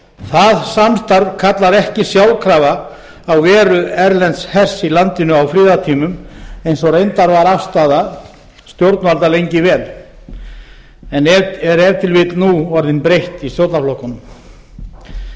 það samstarf kallar ekki sjálfkrafa á veru erlends hers í landinu á friðartímum eins og reyndar var afstaða stjórnvalda lengi vel en er ef til vill nú orðin breytt í stjórnarflokkunum heimurinn